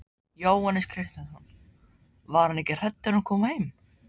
Jóhannes Kristjánsson: Var hún ekki hrædd þegar hún kom heim?